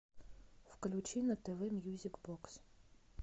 включи на тв мьюзик бокс